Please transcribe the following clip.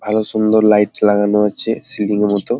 ভালো সুন্দর লাইট লাগানো আছে সিঁড়ির মতো।